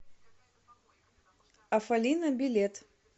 афалина билет